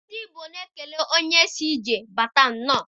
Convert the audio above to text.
Ndị Igbo na-ekele onye si ije bata nnọọ